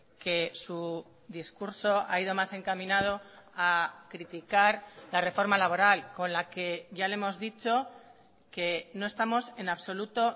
que su discurso ha ido más encaminado a criticar la reforma laboral con la que ya le hemos dicho que no estamos en absoluto